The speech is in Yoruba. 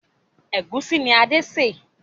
Ẹ̀gúsí ni Adé sè